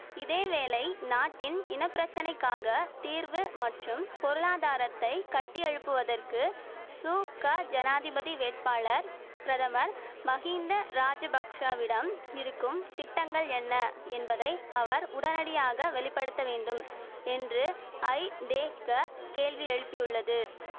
இதேவேளை நாட்டின் இன பிரச்சனைக்காக தீர்வு மற்றும் பொருளாதாரத்தை கட்டியெழுப்புவதற்கு சு க ஜனாதிபதி வேட்பாளர் பிரதமர் மகிந்த ராஜபக்ஷவிடம் இருக்கும் திட்டங்கள் என்ன என்பதை அவர் உடனடியாக வெளி படுத்த வேண்டும் என்று ஐதேக கேள்வி எழுப்பியுள்ளது